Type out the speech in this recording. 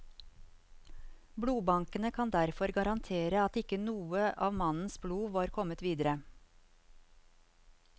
Blodbankene kan derfor garantere at ikke noe av mannens blod har kommet videre.